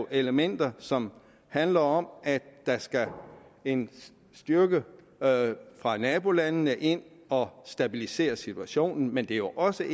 elementer som handler om at der skal en styrke fra nabolandene ind og stabilisere situationen men det er jo også